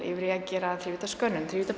yfir í að gera